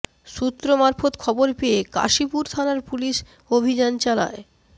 সূত্র মারফত খবর পেয়ে কাশীপুর থানার পুলিশ অভিযান চালায়